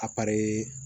A